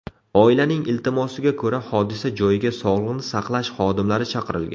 Oilaning iltimosiga ko‘ra, hodisa joyiga sog‘liqni saqlash xodimlari chaqirilgan.